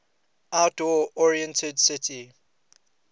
outdoor oriented city